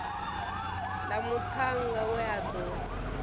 ḽa muṱhannga we a ḓo